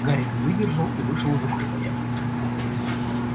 гарри не выдержал и вышел из укрытия